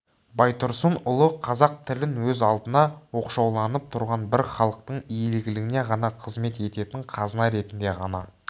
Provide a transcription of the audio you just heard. байтұрсынұлы қазақ тілін өз алдына оқшауланып тұрған бір халықтың игілігіне ғана қызмет ететін қазына ретінде ғана